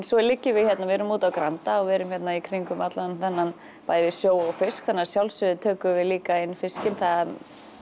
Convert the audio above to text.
svo liggjum við hérna við erum úti á Granda og við erum hérna í kringum allan þennan sjó og fisk þannig að að sjálfsögðu tökum við líka inn fiskinn það